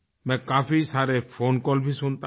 मैं काफी सारे फ़ोन कॉल भी सुनता हूँ